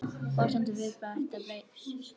Forsendur viðræðna breyttar